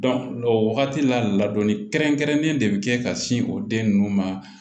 o wagati la ladɔnni kɛrɛnkɛrɛnnen de be kɛ ka sin o den nunnu ma